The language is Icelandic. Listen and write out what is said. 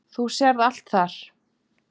Þú sérð það allt þar.